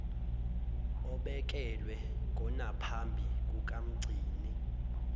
obekelwe konaphambi kukamgcini